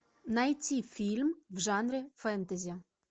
найти фильм в жанре фэнтези